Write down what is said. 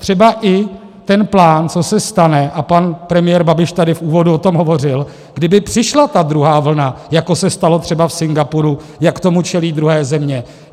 Třeba i ten plán, co se stane, a pan premiér Babiš tady v úvodu o tom hovořil, kdyby přišla ta druhá vlna, jako se stalo třeba v Singapuru, jak tomu čelí druhé země.